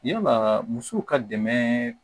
Yalaa musow ka dɛmɛ